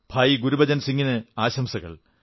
ഭായി ഗുരുബചൻ സിംഗിന് ആശംസകൾ